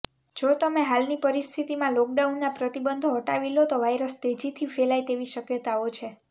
જો તમે હાલની પરિસ્થિતિમાં લોકડાઉનના પ્રતિબંધો હટાવી લો તો વાયરસ તેજીથી ફેલાય તેવી શક્યતાઓ છે